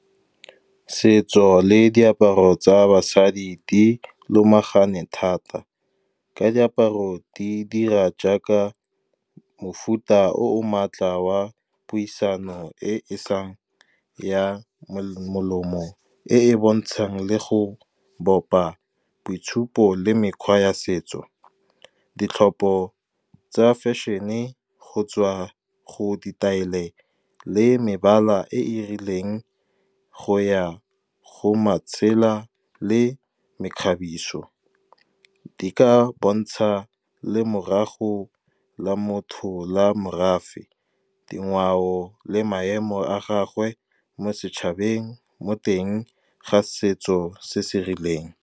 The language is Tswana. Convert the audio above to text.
Setso le diaparo tsa basadi di lomagane thata, ka diaparo di dira jaaka mofuta o o maatla wa puisano e e sa ya molomong, bontshang le go bopa boitshupo le mekgwa ya setso. Ditlhopho tsa fashion-e go tswa go ditaele le mebala e e rileng go ya go le mekgabiso di ka bontsha le morago la motho, la morafe, dingwao le maemo a gagwe mo setšhabeng, mo teng ga setso se se rileng.